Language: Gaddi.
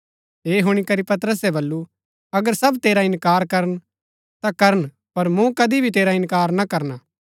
ऐह हुणी करी पतरसे बल्लू अगर सब तेरा इन्कार करन ता करन पर मूँ कदी भी तेरा इन्कार ना करना